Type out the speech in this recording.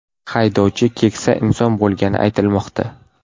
Haydovchi keksa inson bo‘lgani aytilmoqda.